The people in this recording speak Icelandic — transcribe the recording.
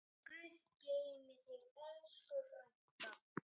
Guð geymi þig, elsku frænka.